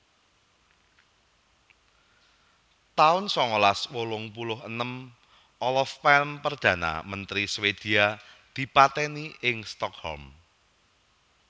taun sangalas wolung puluh enem Olof Palme Perdana Menteri Swedia dipatèni ing Stockholm